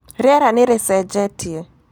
Rĩera nĩ rĩcenjetie.